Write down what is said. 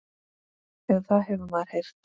Eða það hefur maður heyrt.